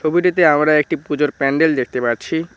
ছবিটিতে আমরা একটি পূজোর প্যান্ডেল দেখতে পাচ্ছি।